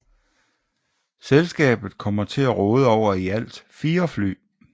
Selskabet kommer til at råde over i alt fire fly